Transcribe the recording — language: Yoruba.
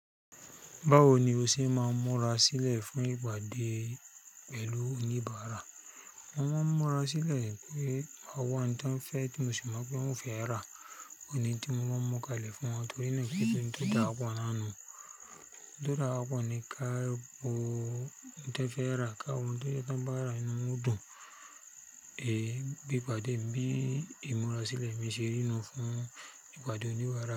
Báwo ni o ṣe máa ń múra sílẹ̀ fún ìpàdé pẹ̀lú oníbàárà? Mo máa ń múra sílẹ̀ pe ọwọ ẹni tań fẹ́ tí mosi mọ pé wọ́n fẹ́ rà, òní tí mo máa ń múkalẹ̀ fún wọn torí náà kín ṣe oun dawapọ̀ na nú, oun to dawapọ̀ ní káwo oun tan fẹ́ rà káàwọ̀ oun to jẹ tan bá rà ínú wọn odún è bí ìpàdé mi bí ìmúra sílẹ̀ mi ṣe rínú fún ìpàdé oníbàárà.